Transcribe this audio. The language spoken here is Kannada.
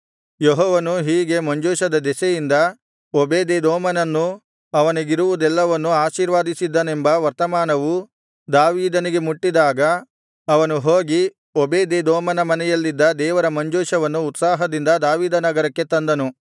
ಯೆಹೋವನು ಹೀಗೆ ಮಂಜೂಷದ ದೆಸೆಯಿಂದ ಓಬೇದೆದೋಮನನ್ನೂ ಅವನಿಗಿರುವುದೆಲ್ಲವನ್ನೂ ಆಶೀರ್ವದಿಸಿದ್ದಾನೆಂಬ ವರ್ತಮಾನವು ದಾವೀದನಿಗೆ ಮುಟ್ಟಿದಾಗ ಅವನು ಹೋಗಿ ಓಬೇದೆದೋಮನ ಮನೆಯಲ್ಲಿದ್ದ ದೇವರ ಮಂಜೂಷವನ್ನು ಉತ್ಸಾಹದಿಂದ ದಾವೀದನಗರಕ್ಕೆ ತಂದನು